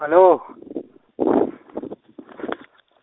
алло